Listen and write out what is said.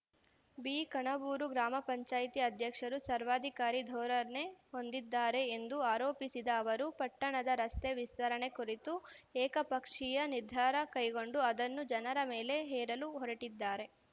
B Kanabur ಗ್ರಾಮ ಪಂಚಾಯಿತಿ ಅಧ್ಯಕ್ಷರು ಸರ್ವಾಧಿಕಾರಿ ಧೋರಣೆ ಹೊಂದಿದ್ದಾರೆ ಎಂದು ಆರೋಪಿಸಿದ ಅವರು ಪಟ್ಟಣದ ರಸ್ತೆ ವಿಸ್ತರಣೆ ಕುರಿತು ಏಕಪಕ್ಷೀಯ ನಿರ್ಧಾರ ಕೈಗೊಂಡು ಅದನ್ನು ಜನರ ಮೇಲೆ ಹೇರಲು ಹೊರಟಿದ್ದಾರೆ